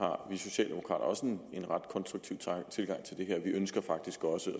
har vi socialdemokrater også en ret konstruktiv tilgang til det her vi ønsker faktisk også i